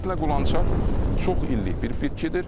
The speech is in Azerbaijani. Ümumiyyətlə qulançar çox illik bir bitkidir.